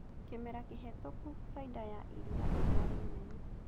Kĩmera kĩhetũku baida ya iria ĩrarĩ nene